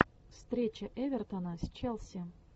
встреча эвертона с челси